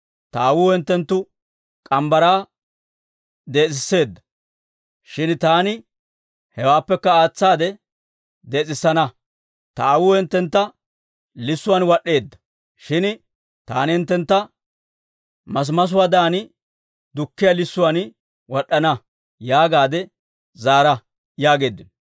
Ta aawuu hinttenttu morgge mitsaa dees'etseedda; shin taani hewaappekka aatsaade dees'etsana. Ta aawuu hinttentta lissuwaan wad'd'eedda; shin taani hinttentta masimasuwaadan dukkiyaa lissuwaan wad'd'ana› yaagaadde zaara» yaageeddino.